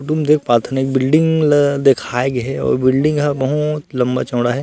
तुम देख पात हन एक बिल्डिंग ल देखाए गे हे अऊ बिल्डिंग ह बहुत लम्बा-चौड़ा हे।